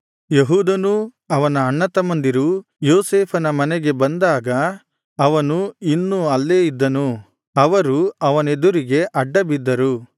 ಯೆಹೂದನೂ ಅವನ ಅಣ್ಣತಮ್ಮಂದಿರೂ ಯೋಸೇಫನ ಮನೆಗೆ ಬಂದಾಗ ಅವನು ಇನ್ನು ಅಲ್ಲೇ ಇದ್ದನು ಅವರು ಅವನೆದುರಿಗೆ ಅಡ್ಡಬಿದ್ದರು